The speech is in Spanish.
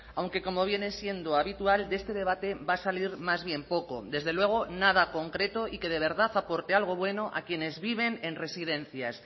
aunque como viene siendo habitual de este debate va a salir más bien poco desde luego nada concreto y que de verdad aporte algo bueno a quienes viven en residencias